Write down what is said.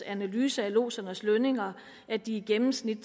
analyse af lodsernes lønninger at de i gennemsnit